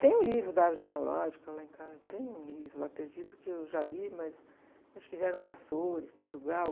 Tem um livro da árvore genealógica lá em casa, tem um livro lá perdido que eu já li, mas acho que vieram de Açores, Portugal.